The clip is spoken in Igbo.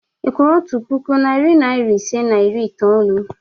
Ị kwụrụ otu puku, narị naịra ise na iri itoolu?